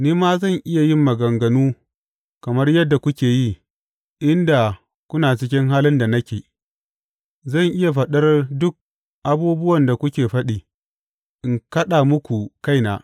Ni ma zan iya yin maganganu kamar yadda kuke yi in da kuna cikin halin da nake; zan iya faɗar duk abubuwan da kuke faɗi, in kaɗa muku kaina.